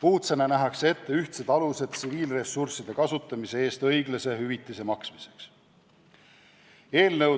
Uudsena nähakse ette ühtsed alused tsiviilressursside kasutamise eest õiglase hüvitise maksmiseks.